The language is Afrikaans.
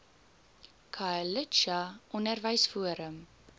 khayelitsha onderwys forum